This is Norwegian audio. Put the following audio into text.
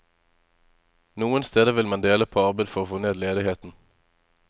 Noen steder vil man dele på arbeid for å få ned ledigheten.